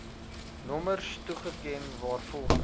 nommers toeken waarvolgens